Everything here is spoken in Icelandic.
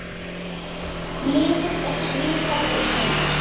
Liðið er svipað og síðast.